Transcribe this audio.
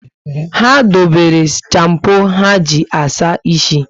Ha dobere champo ha ji asa ísì